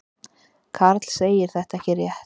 Karl segir þetta ekki rétt.